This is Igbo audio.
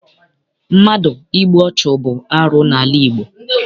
Mmadụ ịgbụ ọchụ bụ arụ n'ala Igbo.